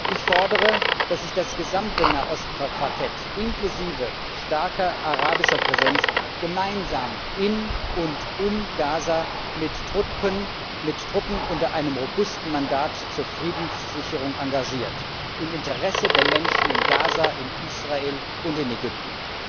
Ich fordere, dass sich das gesamte Nahost Quartett inklusive starker arabischer Präsenz gemeinsam in und um Gaza mit Truppen unter einem robusten Mandat zur Friedenssicherung engagiert im Interesse der Menschen in Gaza, in Israel und in Ägypten.